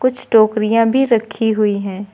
कुछ टोकरियां भी रखी हुई हैं।